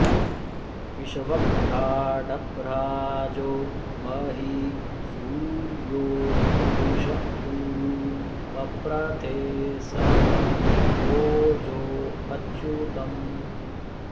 वि॒श्व॒भ्राड्भ्रा॒जो महि॒ सूर्यो॑ दृ॒श उ॒रु प॑प्रथे॒ सह॒ ओजो॒ अच्यु॑तम्